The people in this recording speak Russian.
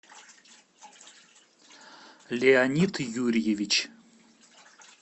леонид юрьевич